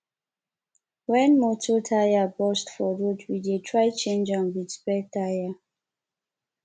wen motor tyre burst for road we dey try change am wit spare tyre